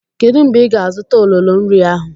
Kedu mgbe ị ga-azụta ololo nri ahụ?